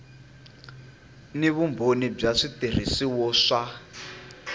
na vumbhoni wa switirhiso swa